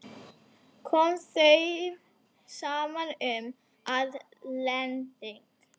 Kom þeim saman um, að lending